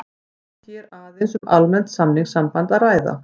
Er hér aðeins um almennt samningssamband að ræða.